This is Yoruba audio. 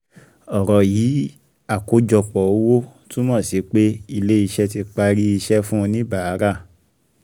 Ọ̀rọ̀ yìí àkọ́jọpọ̀ owó túmọ̀ sí pé ilé iṣẹ́ tí parí iṣẹ́ fún oníbàárà